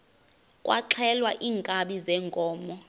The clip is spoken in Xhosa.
kwaxhelwa iinkabi zeenkomo